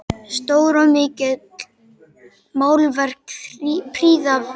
Stór og mikil málverk prýða veggina.